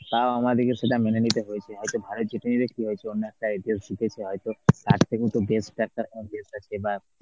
হ্যাঁ তাও আমাদেরকে সেটা মেনে নিতে হয়েছে হয়তো ভারত জিতেছে হয়তো